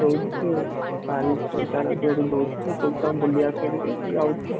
ଦଉଛି ସିଏ ସଞ୍ଚୟରୁ ଦଉଛି ସେ ପଇସାରେ ବୁଲି ଆସ ବୋଲି ଯାଉଛି ଆଉ